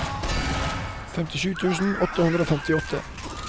femtisju tusen åtte hundre og femtiåtte